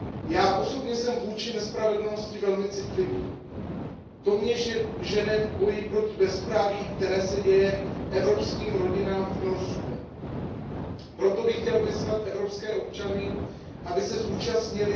Já osobně jsem vůči nespravedlnosti velmi citlivý, to mě žene v boji proti bezpráví, které se děje evropským rodinám v Norsku, proto bych chtěl vyzvat evropské občany, aby se zúčastnili